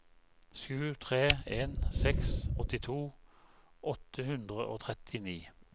sju tre en seks åttito åtte hundre og trettini